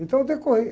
Então eu decorrei.